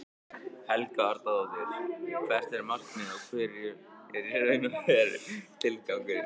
Helga Arnardóttir: Hvert er markmiðið og hver er í raun og veru tilgangurinn?